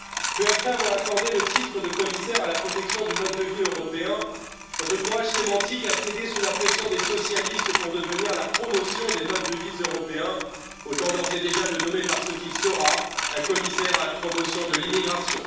Peu après avoir accordé le titre de commissaire à la protection du mode de vie européen, votre courage sémantique a cédé sous la pression des socialistes pour devenir la promotion des modes de vie européens, autant d'ores et déjà le nommer parce qu'il sera un commissaire à la promotion de l'immigration.